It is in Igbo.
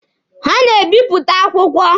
Ha na-ebịpụta akwụkwọ.